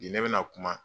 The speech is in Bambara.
Bi ne bɛ na kuma